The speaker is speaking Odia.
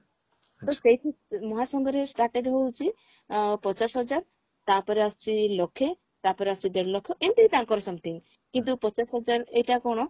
ତ ସେଇଠି ମହାସଂଘରେ started ହଉଛି ଆ ପଚାଶ ହଜାର ତାପରେ ଆସୁଛି ଲକ୍ଷେ ତାପରେ ଆସୁଛି ଦେଢଲକ୍ଷ ଏମତି ତାଙ୍କର something କିନ୍ତୁ ପଚାଶ ହଜାର ଏଇଟା କଣ